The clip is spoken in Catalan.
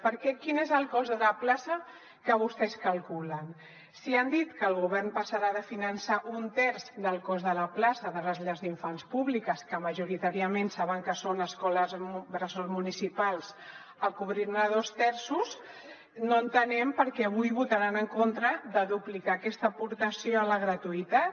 perquè quin és el cost de la plaça que vostès calculen si han dit que el govern passarà de finançar un terç del cost de la plaça de les llars d’infants públiques que majoritàriament saben que són escoles bressol municipals a cobrir ne dos terços no entenem per què avui votaran en contra de duplicar aquesta aportació a la gratuïtat